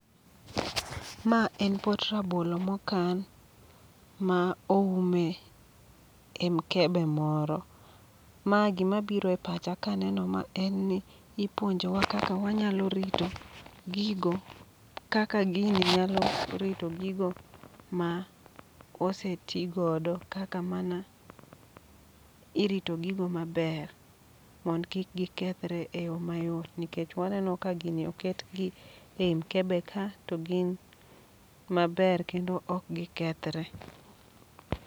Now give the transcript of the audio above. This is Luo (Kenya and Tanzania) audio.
Ma en pot rabolo mokan, ma oume e mkebe moro. Ma gima biro e pacha kaneno ma en ni ipuonjowa kaka wanyalo rito gigo, kaka gini nyalo rito gigo ma osetigodo kaka mana irito gigo maber. Mond kik gikethre e yo mayot, nikech waneno ka gini oket gi ei mkebe ka to gin maber kendo ok gikethre.